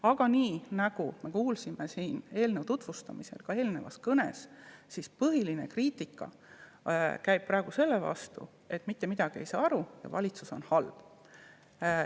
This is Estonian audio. Aga nagu me siin eelnõu tutvustamisel ja ka eelnevast kõnest kuulsime, käib põhiline kriitika praegu selle pihta, et mitte midagi ei saa aru ja valitsus on halb.